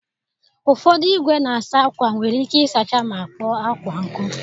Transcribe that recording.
Ụfọdụ igwe na-asa akwa nwere ike ịsacha ma kpoo akwa nkụ.